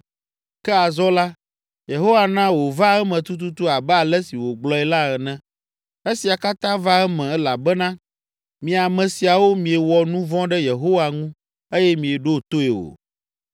Ke azɔ la, Yehowa na wòva eme tututu abe ale si wògblɔe la ene. Esia katã va eme elabena mi ame siawo miewɔ nu vɔ̃ ɖe Yehowa ŋu eye mieɖo toe o.